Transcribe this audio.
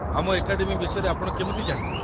ଆମ ଏକାଡେମୀ ବିଷୟରେ ଆପଣ କେମିତି ଜାଣିଲେ?